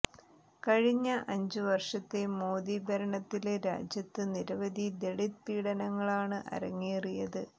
കഴിഞ്ഞ അഞ്ച് വര്ഷത്തെ മോദി ഭരണത്തില് രാജ്യത്ത് നിരവധി ദളിത് പീഡനങ്ങളാണ് അരങ്ങേറിയത്